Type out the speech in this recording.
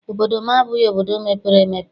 Obodo m abụghị obodo mepere emepe.